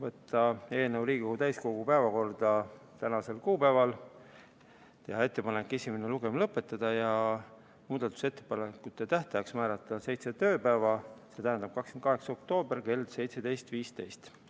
Otsustati võtta eelnõu Riigikogu täiskogu päevakorda tänaseks kuupäevaks, teha ettepanek esimene lugemine lõpetada ja muudatusettepanekute tähtajaks määrata seitse tööpäeva, st 28. oktoober kell 17.15.